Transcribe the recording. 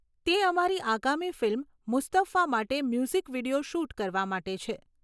તે અમારી આગામી ફિલ્મ 'મુસ્તફા' માટે મ્યુઝિક વીડિયો શૂટ કરવા માટે છે.